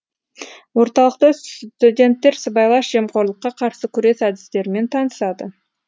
орталықта студенттер сыбайлас жемқорлыққа қарсы күрес әдістерімен танысады